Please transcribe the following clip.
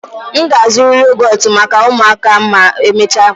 M ga-azụrụ yogọtụ maka ụmụaka ma emechaa